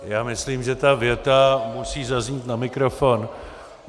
Já myslím, že ta věta musí zaznít na mikrofon.